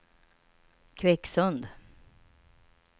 Kvicksund